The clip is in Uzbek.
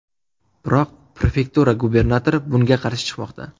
Biroq prefektura gubernatori bunga qarshi chiqmoqda.